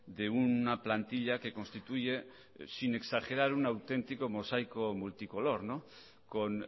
de una plantilla que constituye sin exagerar un auténtico mosaico multicolor con